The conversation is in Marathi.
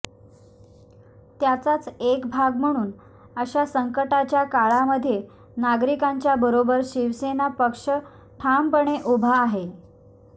त्याचाच एक भाग म्हणुन अशा संकटाच्या काळामध्ये नागरीकांच्या बरोबर शिवसेना पक्ष ठामपणे उभा आहे